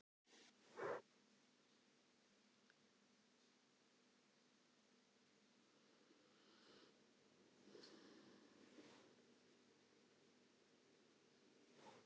Það er mismunandi eftir aldurshópum hverjir eru helstu meinvaldar bráðrar heilahimnubólgu af völdum baktería.